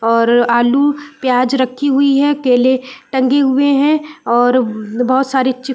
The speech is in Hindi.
और आलू प्याज रखी हुई हैं केले टंगे हुए हैं और बहुत सारे चिप्स --